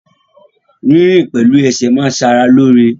Rírìn pẹ̀lú ẹsẹ̀ máa n ṣe ara lóore